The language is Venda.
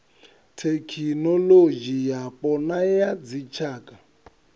thekinolodzhi yapo na ya dzitshaka